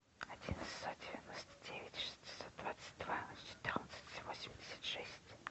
один шестьсот девяносто девять шестьсот двадцать два четырнадцать восемьдесят шесть